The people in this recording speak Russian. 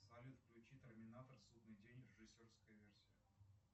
салют включи терминатор судный день режиссерская версия